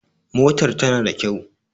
Motar ta na da kyau